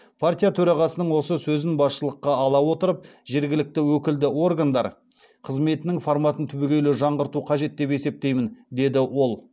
партия төрағасының осы сөзін басшылыққа ала отырып жергілікті өкілді органдар қызметінің форматын түбегейлі жаңғырту қажет деп есептеймін деді ол